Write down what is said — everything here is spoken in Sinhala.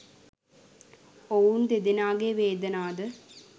ඔවුන් දෙදෙනාගේ වේදනා ද